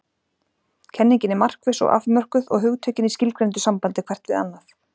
Kenningin er markviss og afmörkuð og hugtökin í skilgreindu sambandi hvert við annað.